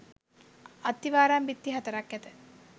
අත්තිවාරම් බිත්ති හතරක් ඇත.